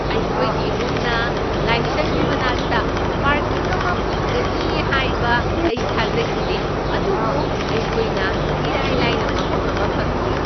ꯑꯩꯈꯣꯏꯒꯤ ꯏꯃꯨꯡꯅ ꯂꯥꯏꯁꯪꯒꯤ ꯃꯅꯥꯛꯇ ꯄꯥꯔꯀꯤꯡ ꯑꯃ ꯐꯪꯒꯅꯤ ꯍꯥꯏꯕ ꯑꯩ ꯊꯥꯖꯈꯤꯗꯦ, ꯑꯗꯨꯕꯨ ꯑꯩꯈꯣꯏꯅ ꯏꯔꯥꯏ ꯂꯥꯏꯅ ꯃꯐꯝ ꯑꯃ ꯐꯪꯈꯤ꯫